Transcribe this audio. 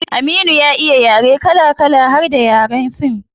Aminu ya iya yaren kala kala har da yaren yan sin